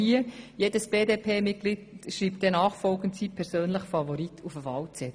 Jedes BDP-Mitglied wird also nachfolgend den Namen seines persönlichen Favoriten auf den Wahlzettel schreiben.